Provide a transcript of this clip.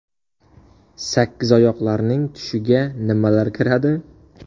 Sakkizoyoqlarning tushiga nimalar kiradi?.